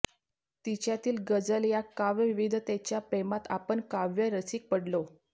तिच्यातील ग़़जल या काव्यविविधतेच्या प्रेमात आपण काव्यरसिक पडलो